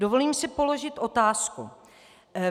Dovolím si položit otázku.